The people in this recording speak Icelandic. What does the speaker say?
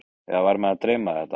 Eða var mig að dreyma þetta?